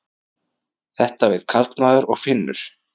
Þetta veit karlmaður og finnur.